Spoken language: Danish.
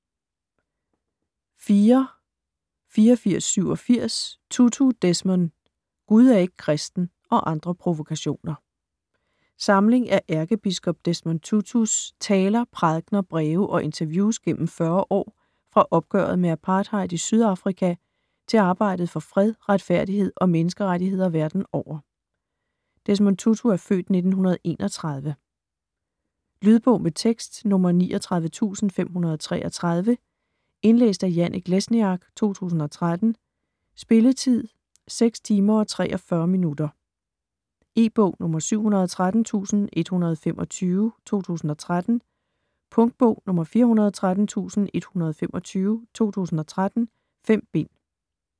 04.8487 Tutu, Desmond: Gud er ikke kristen - og andre provokationer Samling af ærkebiskop Desmond Tutus (f. 1931) taler, prædikener, breve og interviews gennem 40 år fra opgøret med apartheid i Sydafrika til arbejdet for fred, retfærdighed og menneskerettigheder verden over. Lydbog med tekst 39533 Indlæst af Janek Lesniak, 2013. Spilletid: 6 timer, 43 minutter. E-bog 713125 2013. Punktbog 413125 2013. 5 bind.